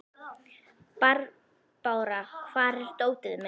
Barbára, hvar er dótið mitt?